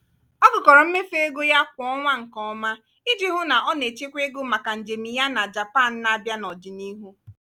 ọ gụkọrọ mmefu ego ya kwa ọnwa nke ọma iji hụ na o na-echekwa ego maka njem ya na japan n'abia n'ọdịnihu.